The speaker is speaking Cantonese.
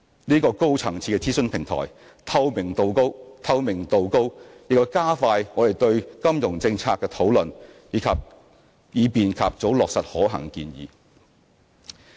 這個高層次的諮詢平台，透明度高，亦加快我們就金融政策的討論，以便及早落實可行建議。